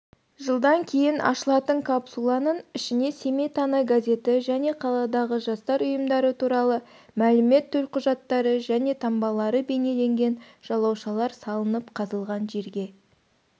жылдан кейін ашылатынкапсуланың ішіне семей таңы газеті және қаладағы жастар ұйымдары туралы мәлімет төлқұжаттары және таңбалары бейнеленген жалаушалар салынып қазылған жерге